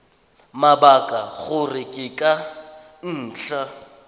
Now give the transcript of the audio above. mabaka gore ke ka ntlha